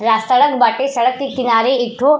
रा सड़क बाटे। सड़क के किनारे एक ठो --